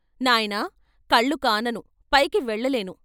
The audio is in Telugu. నాయనా, కళ్ళు కానను పైకి వెళ్ళలేను.